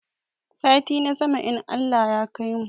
Sati na sama in Allah ya kaimu